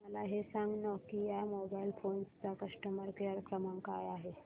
मला हे सांग नोकिया मोबाईल फोन्स चा कस्टमर केअर क्रमांक काय आहे